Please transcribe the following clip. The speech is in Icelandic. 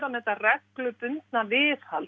með þetta reglubundna viðhald